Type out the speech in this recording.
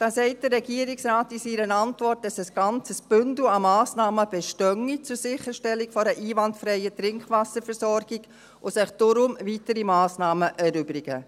Da sagt der Regierungsrat in seiner Antwort, dass ein ganzes Bündel an Massnahmen zur Sicherstellung einer einwandfreien Trinkwasserversorgung bestehe und sich daher weitere Massnahmen erübrigen.